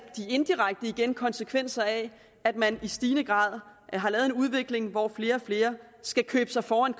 indirekte konsekvenser af at man i stigende grad har lavet en udvikling hvor flere og flere skal købe sig foran